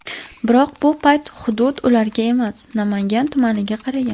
Biroq bu payt hudud ularga emas, Namangan tumaniga qaragan.